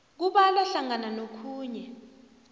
kubalwa hlangana nokhunye